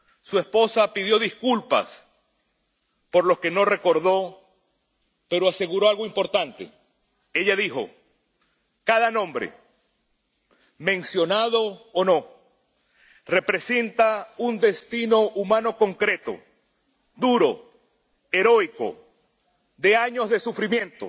Su esposa pidió disculpas por los que no recordó, pero aseguró algo importante. Ella dijo Cada nombre, mencionado o no, representa un destino humano concreto, duro y heroico, de años de sufrimiento,